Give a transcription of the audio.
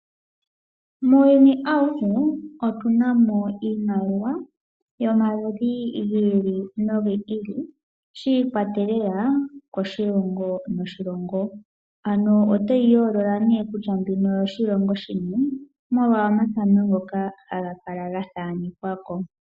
Muuyuni awuhe otuna mo iimaliwa yomaludhi gi ili no gi ili . Shi ikwatelela koshilongo no shilongo . Ano otoyi yoolola kutya oyo shilongo shini molwa omathano ngoka ga thaanekwa ko.